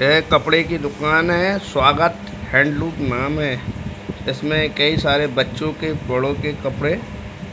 ये कपडे की दुकान है स्वागत हैंडलुक नाम है। इसमें कई सारे बच्चो के बड़ो के कपडे